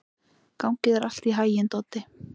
Gangi þér allt í haginn, Doddi.